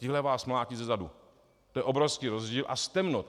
Tihle vás mlátí zezadu, to je obrovský rozdíl, a z temnot.